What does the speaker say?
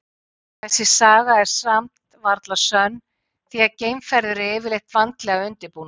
Þessi saga er nú samt varla sönn því að geimferðir eru yfirleitt vandlega undirbúnar.